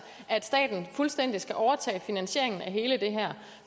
at staten fuldstændig skal overtage finansieringen